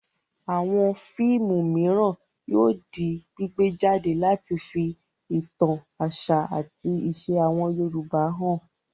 Àwọn fíìmù mìíràn yóò di gbígbé jáde láti fi ìtàn àṣà àti ìṣe àwọn Yorùbá hàn.